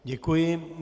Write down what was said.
Děkuji.